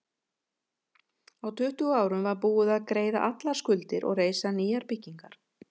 Á tuttugu árum var búið að greiða allar skuldir og reisa nýjar byggingar.